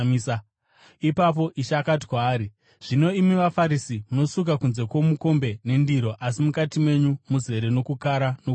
Ipapo Ishe akati kwaari, “Zvino, imi vaFarisi munosuka kunze kwomukombe nendiro, asi mukati menyu muzere nokukara nokuipa.